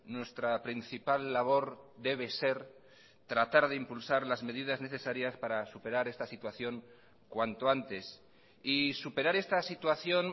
nuestra principal labor debe ser tratar de impulsar las medidas necesarias para superar esta situación cuanto antes y superar esta situación